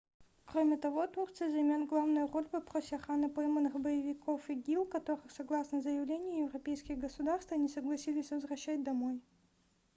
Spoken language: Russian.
кроме того турция займет главную роль в вопросе охраны пойманных боевиков игил которых согласно заявлению европейские государства не согласились возвращать домой